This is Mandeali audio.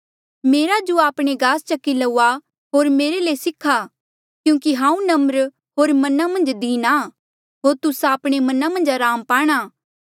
मेरा जुआ आपणे गास चकी लऊआ होर मेरे ले सिखा क्यूंकि हांऊँ नम्र होर मना मन्झ दीन आ होर तुस्सा आपणे मना मन्झ अराम पाणा